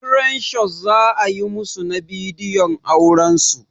Crane shot za a yi musu na bidiyon auran su.